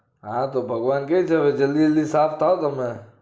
હા તો ભળવાન કે છે કે જલ્દી જલ્દી સાફ થાઓ તમે